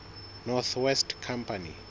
north west company